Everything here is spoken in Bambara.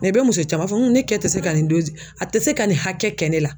i bɛ muso caman ye a b'a fɔ ne kɛ se ka nin a tɛ se ka nin hakɛ kɛ ne la.